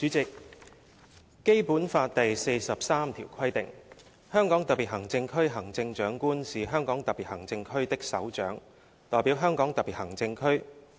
主席，《基本法》第四十三條規定："香港特別行政區行政長官是香港特別行政區的首長，代表香港特別行政區。